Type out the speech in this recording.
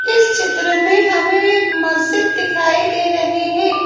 इस चित्र में हमें एक मस्जिद दिखाई दे रही है।